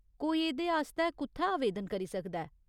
कोई एह्दे आस्तै कु'त्थै आवेदन करी सकदा ऐ ?